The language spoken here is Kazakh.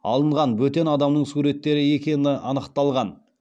алынған бөтен адамның суреттері екені анықталған